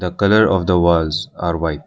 The colour of the walls are white.